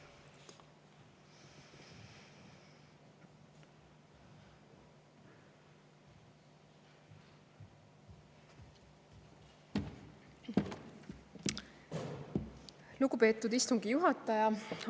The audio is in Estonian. Lugupeetud istungi juhataja!